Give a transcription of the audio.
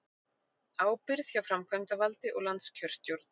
Ábyrgð hjá framkvæmdavaldi og landskjörstjórn